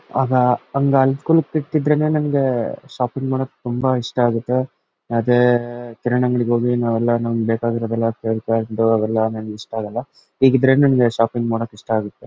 ಅದ್ ನಮ್ಮಗೆ ಶಾಪಿಂಗ್ ಮಾಡಕ್ಕೆ ತುಂಬಾ ಇಷ್ಟ ಆಗುತ್ತೆ ಮತ್ತೆ ಕಿರಾಣಿ ಅಂಗಡಿಗೆ ಹೋಗಿ ನಾವೆಲ್ಲಾ ನಮ್ಮಗೆ ಬೇಕಾಗಿರೋ ಅವೆಲ್ಲಾ ನಮ್ಮಗೆ ಇಷ್ಟ ಆಗಲ್ಲಾ ಹೀಗಿದ್ರೇನೆ ನಮ್ಮಗೆ ಶಾಪಿಂಗ್ ಮಾಡಕ್ಕೆ ಇಷ್ಟ ಆಗುತ್ತೆ .